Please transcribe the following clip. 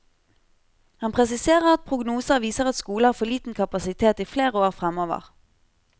Han presiserer at prognoser viser at skolen har for liten kapasitet i flere år fremover.